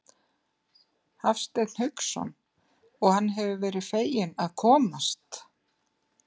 Hafsteinn Hauksson: Og hann hefur verið feginn að komast?